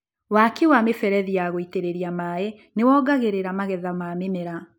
Waki wa mĩberethi ya gũitĩrĩria maĩ nĩwongagĩrira magetha ma mĩmera.